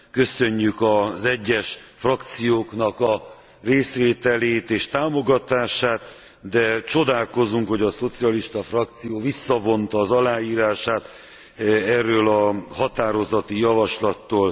Köszönjük az egyes frakcióknak a részvételét és támogatását, de csodálkozunk, hogy a szocialista frakció visszavonta az aláírását erről a határozati javaslatról.